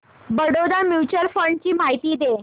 Baroda mutual fund ची माहिती दे